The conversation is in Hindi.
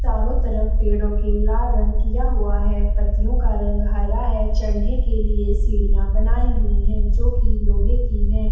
चारों तरफ पेड़ों के लाल रंग किया हुआ है पत्तियों का रंग हरा है चढ़ने के लिए सीढ़ियां बनाई हुई है जो की लोहे की है।